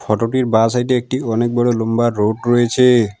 Photo টির বা সাইডে একটি অনেক বড় লুম্বা রোড রয়েছে।